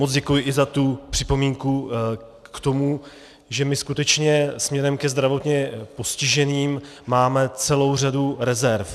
Moc děkuji i za tu připomínku k tomu, že my skutečně směrem ke zdravotně postiženým máme celou řadu rezerv.